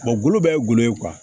gulo bɛɛ ye gulɔ ye